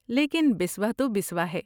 لیکن بسوا تو بسوا ہے۔